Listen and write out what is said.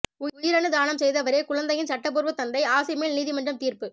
உயிரணு தானம் செய்தவரே குழந்தையின் சட்டபூர்வ தந்தை ஆஸி மேல் நீதிமன்றம் தீர்ப்பு